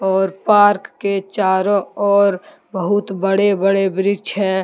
और पार्क के चारों ओर बहुत बड़े बड़े वृक्ष हैं।